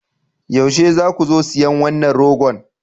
Yaushe za ku zo siyan wannan ragon?